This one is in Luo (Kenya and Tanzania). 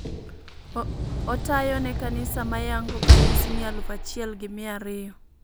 Otayo ne kanisa mayango kanisni Aluf achiel gi mia ariyo.